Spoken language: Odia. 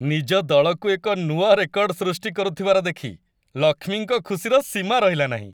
ନିଜ ଦଳକୁ ଏକ ନୂଆ ରେକର୍ଡ ସୃଷ୍ଟି କରୁଥିବାର ଦେଖି ଲକ୍ଷ୍ମୀଙ୍କ ଖୁସିର ସୀମା ରହିଲା ନାହିଁ।